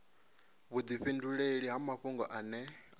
vhudifhinduleli ha mafhungo ane a